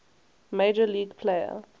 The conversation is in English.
major league player